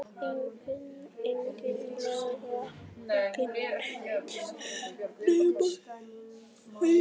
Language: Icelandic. Eiginlega ekki neitt nema heimili okkar.